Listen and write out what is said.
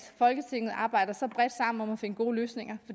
folketinget arbejder så bredt sammen om at finde gode løsninger